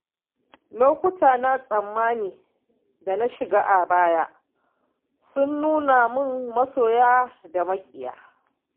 Lokuta na tsanani da na shiga a baya sun nuna mun masoya da maƙiya.